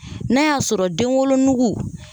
N'a y'a sɔrɔ denwolonugu